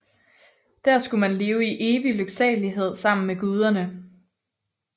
Der skulle man leve i evig lyksalighed sammen med guderne